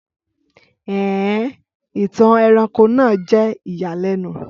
Ẹn en! Ìtàn ẹranko náà jẹ́ ìyàlẹ́nu